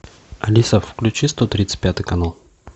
алиса включи сто тридцать пятый канал